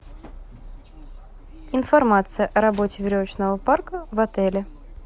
информация о работе веревочного парка в отеле